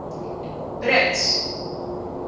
brits